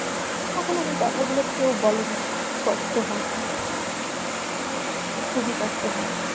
এখন আর এ কথাগুলো কেউ বলে না, কষ্ট হয় খুবই কষ্ট হয়।